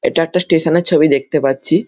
এটা একটা স্টেশন - এর ছবি দেখতে পাচ্ছি--